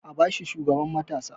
A ba shi shugaban matasa!